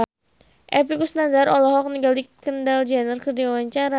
Epy Kusnandar olohok ningali Kendall Jenner keur diwawancara